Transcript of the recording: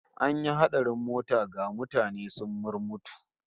An yi hatsarin mota, ga mutane sun murmutu